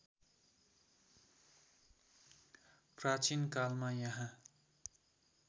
प्राचीनकालमा यहाँ